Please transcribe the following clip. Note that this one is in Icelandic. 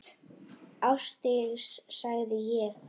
Ásdís, sagði ég.